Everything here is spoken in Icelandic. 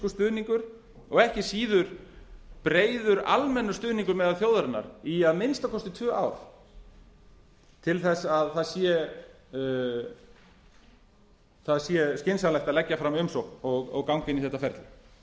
stuðningur og ekki síður breiður almennur stuðningur meðal þjóðarinnar í að minnsta kosti tvö ár í að það sé skynsamlegt að leggja fram umsókn og ganga inn í þetta ferli